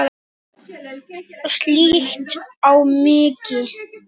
Og slíkt má aldrei henda.